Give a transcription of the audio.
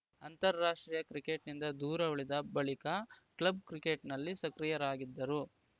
ಅಂತಾರಾಷ್ಟ್ರೀಯ ಕ್ರಿಕೆಟ್‌ನಿಂದ ದೂರ ಉಳಿದ ಬಳಿಕ ಕ್ಲಬ್‌ ಕ್ರಿಕೆಟ್‌ನಲ್ಲಿ ಸಕ್ರಿಯರಾಗಿದ್ದರು